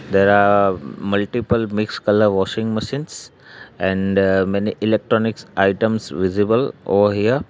there are multiple mix colour washing machines and many electronics items visible over here.